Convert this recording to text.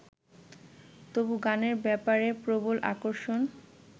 তবু গানের ব্যাপারে প্রবল আকর্ষণ